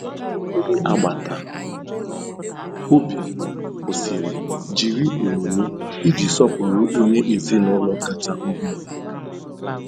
Ndị agbata obi kwụsịrị jiri onyinye iji sọpụrụ onye ezinaụlọ kacha ọhụrụ.